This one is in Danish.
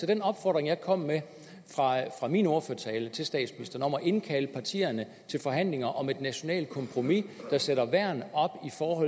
den opfordring jeg kom med i min ordførertale til statsministeren indkalde partierne til forhandlinger om et nationalt kompromis der sætter værn op